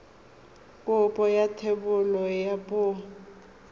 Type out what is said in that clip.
kopo ya thebolo ya poo